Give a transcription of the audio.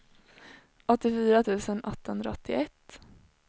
åttiofyra tusen åttahundraåttioett